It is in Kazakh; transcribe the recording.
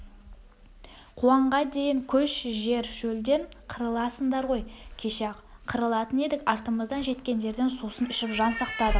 қуаңға дейін көш жер шөлден қырыласыңдар ғой кеше-ақ қырылатын едік артымыздан жеткендерден сусын ішіп жан сақтадық